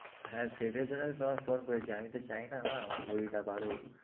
হ্যাঁ সেইটার জন্যেই তো তোমায় phone করেছি আমি তো চাই না না আমার ভুঁড়িটা বাড়ুক।